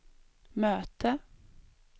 möte